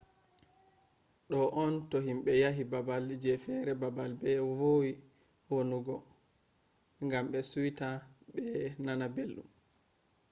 do on to himbe yahi babal je fere babal be vowi wonugo gam be suita be nana beldum